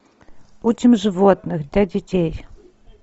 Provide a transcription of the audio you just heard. учим животных для детей